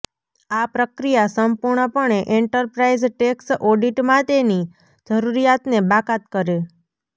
આ પ્રક્રિયા સંપૂર્ણપણે એન્ટરપ્રાઇઝ ટેક્સ ઓડિટ માટેની જરૂરિયાતને બાકાત કરે